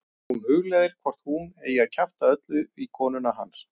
Hún hugleiðir hvort hún eigi að kjafta öllu í konuna hans.